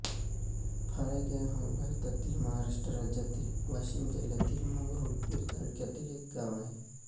फाळेगाव हे भारतातील महाराष्ट्र राज्यातील वाशिम जिल्ह्यातील मंगरुळपीर तालुक्यातील एक गाव आहे